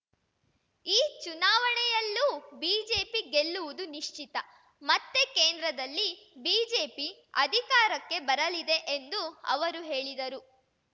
ಈ ಚುನಾವಣೆಯಲ್ಲೂ ಬಿಜೆಪಿ ಗೆಲ್ಲುವುದು ನಿಶ್ಚಿತ ಮತ್ತೆ ಕೇಂದ್ರದಲ್ಲಿ ಬಿಜೆಪಿ ಅಧಿಕಾರಕ್ಕೆ ಬರಲಿದೆ ಎಂದು ಅವರು ಹೇಳಿದರು